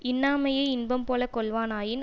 இன்னாமையை இன்பம்போலக் கொள்வானாயின்